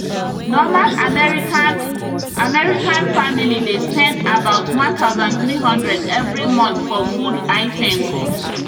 normal american american family dey spend about 1300 every month for food items